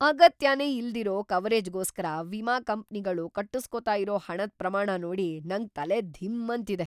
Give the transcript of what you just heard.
ಅಗತ್ಯನೇ ಇಲ್ದಿರೋ ಕವರೇಜ್‌ಗೋಸ್ಕರ ವಿಮಾ ಕಂಪ್ನಿಗಳು ಕಟ್ಟುಸ್ಕೊತಾ ಇರೋ ಹಣದ್‌ ಪ್ರಮಾಣ ನೋಡಿ ನಂಗ್‌ ತಲೆ ಧಿಮ್‌ ಅಂತಿದೆ.